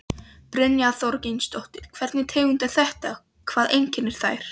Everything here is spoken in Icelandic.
Brynja Þorgeirsdóttir: Hvernig tegundir eru þetta, hvað einkennir þær?